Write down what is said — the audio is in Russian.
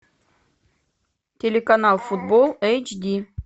телеканал футбол эйчди